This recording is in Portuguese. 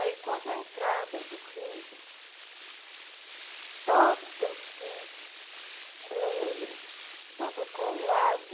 Aí, quando a entrada do rio, toda assim, tudo colado,